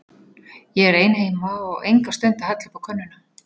Ég er ein heima og enga stund að hella uppá könnuna.